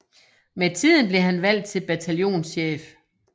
Med tiden blev han valgt til bataljonschef